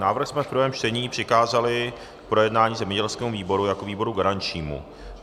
Návrh jsme v prvém čtení přikázali k projednání zemědělskému výboru jako výboru garančnímu.